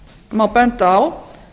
má benda á